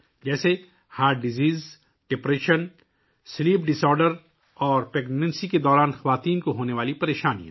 جیسے دل کی بیماری، ڈپریشن، نیند کی خرابی اور حمل کے دوران خواتین کو درپیش مسائل